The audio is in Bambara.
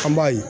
An b'a ye